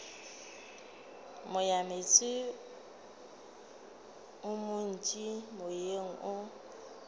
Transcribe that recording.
moyameetse o montši moyeng o